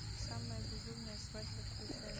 самая безумная свадьба включай